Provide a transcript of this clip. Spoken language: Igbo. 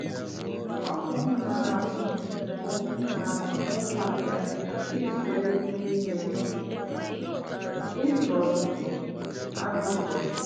Ọ bụ m na-ahụ bụ m na-ahụ maka ịzụ ewu n'ime izu ọzụzụ anụ ụlọ m.